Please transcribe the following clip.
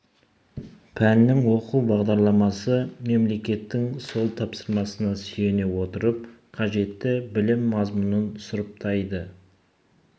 пәннің оқу бағдарламасы мемлекеттің сол тапсырмасына сүйене отырып қажетті білім мазмұнын сұрыптайды